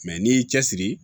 n'i y'i cɛsiri